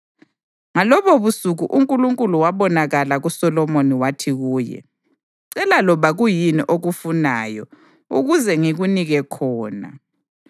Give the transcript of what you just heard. Ngalobobusuku uNkulunkulu wabonakala kuSolomoni wathi kuye: “Cela loba kuyini okufunayo ukuze ngikunike khona.”